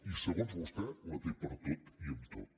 i segons vostè la té per tot i amb tot